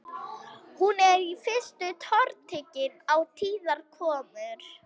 Hún er í fyrstu tortryggin á tíðar komur